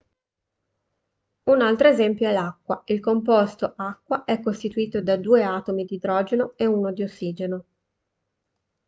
un altro esempio è l'acqua il composto acqua è costituito da due atomi di idrogeno e uno di ossigeno